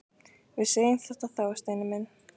Við segjum þetta þá, Steini minn!